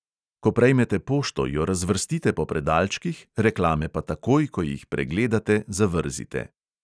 Ko prejmete pošto, jo razvrstite po predalčkih, reklame pa takoj, ko jih pregledate, zavrzite.